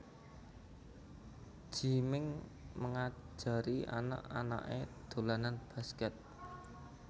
Gie Ming ngajari anak anake dolanan basket